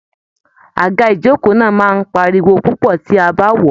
Àga Ijoko náà máa n páríwó púpọ tí a bá wọọ.